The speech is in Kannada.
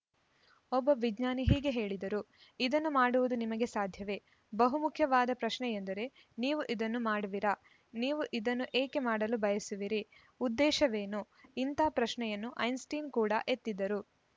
ಒಬ್ಬ ವಿಜ್ಞಾನಿ ಹೀಗೆ ಹೇಳಿದರು ಇದನ್ನು ಮಾಡುವುದು ನಿಮಗೆ ಸಾಧ್ಯವೆ ಬಹು ಮುಖ್ಯವಾದ ಪ್ರಶ್ನೆಯೆಂದರೆ ನೀವು ಇದನ್ನು ಮಾಡುವಿರಾ ನೀವು ಇದನ್ನು ಏಕೆ ಮಾಡಲು ಬಯಸುವಿರಿ ಉದ್ದೇಶವೇನು ಇಂಥ ಪ್ರಶ್ನೆಯನ್ನು ಐನ್‌ಸ್ಟೀನ್‌ ಕೂಡ ಎತ್ತಿದ್ದರು